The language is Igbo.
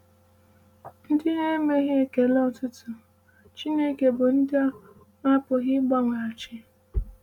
“Ndị na-emeghị ekele otuto Chineke bụ ndị a na-apụghị ịgbanweghachi.”